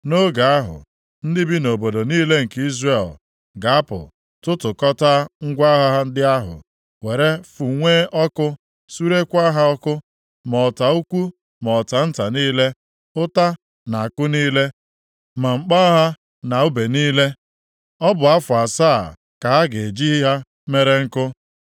“ ‘Nʼoge ahụ, ndị bi nʼobodo niile nke Izrel ga-apụ tụtụkọtaa ngwa agha ndị ahụ, were fụnwue ọkụ, surekwaa ha ọkụ, ma ọta ukwu ma ọta nta niile, ụta na àkụ niile, ma mkpọ agha na ùbe niile. Ọ bụ afọ asaa ka ha ga-eji ha mere nkụ.